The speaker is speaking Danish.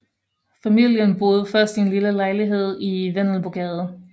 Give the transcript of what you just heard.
Familien boede først i en lille lejlighed i Vendelbogade